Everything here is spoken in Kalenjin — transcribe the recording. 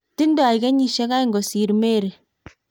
tingdoi kenyisiek oeng' kosir Mary